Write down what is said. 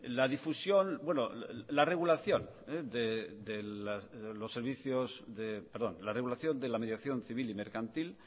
la difusión bueno la regulación de los servicios perdón la regulación de la mediación civil y mercantil